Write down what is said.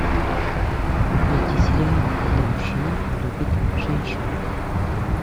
найти сериал когда мужчина любит женщину